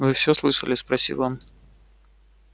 вы всё слышали спросил он